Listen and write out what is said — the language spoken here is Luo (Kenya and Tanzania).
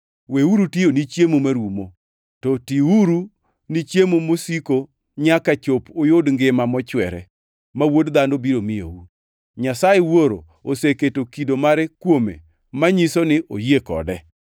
Weuru tiyo ni chiemo marumo, to tiuru ni chiemo masiko nyaka chop uyud ngima mochwere, ma Wuod Dhano biro miyou. Nyasaye Wuoro oseketo kido mare kuome manyiso ni oyie kode.”